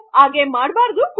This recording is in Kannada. ನೀವು ಆಗೆ ಮಾಡಲು ಬಾರದು